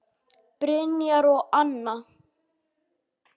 Brynjar og Anna.